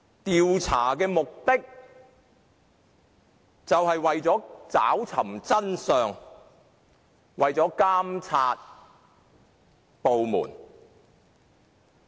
調查的目的是為了找尋真相和監察該部門。